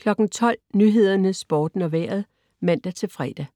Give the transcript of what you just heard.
12.00 Nyhederne, Sporten og Vejret (man-fre)